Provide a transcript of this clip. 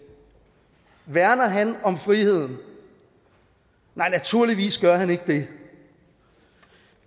værner han om friheden nej naturligvis gør han ikke det